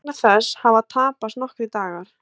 Vegna þess hafa tapast nokkrir dagar